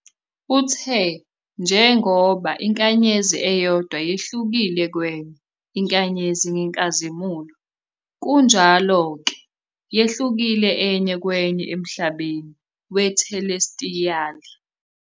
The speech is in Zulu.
Uthe "njengoba inkanyezi eyodwa yehlukile kwenye inkanyezi ngenkazimulo, kunjalo-ke, yehlukile enye kwenye emhlabeni wethelestiyali."